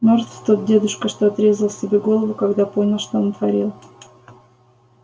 мёртв тот дедушка что отрезал себе голову когда понял что натворил